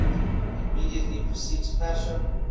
immediately precedes pascha